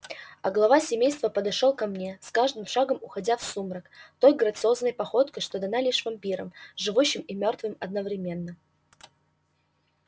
а глава семейства подошёл ко мне с каждым шагом уходя в сумрак той грациозной походкой что дана лишь вампирам живущим и мёртвым одновременно